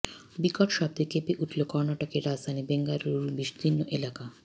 বিকট শব্দে কেঁপে উঠল কর্ণাটকের রাজধানী বেঙ্গালুরুর বিস্তীর্ণ এলাকা